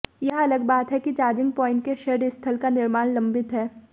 यह अलग बात है कि चार्जिंग पॉइंट के शेड स्थल का निर्माण लंबित है